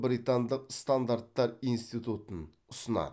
британдық стандарттар институтын ұсынады